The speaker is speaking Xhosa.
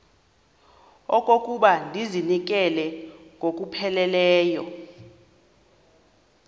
okokuba ndizinikele ngokupheleleyo